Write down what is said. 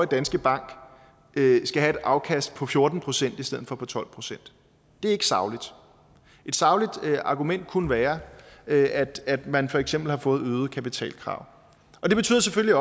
danske bank skal have et afkast på fjorten procent i stedet for på tolv procent det er ikke sagligt et sagligt argument kunne være at at man for eksempel har fået øgede kapitalkrav det betyder selvfølgelig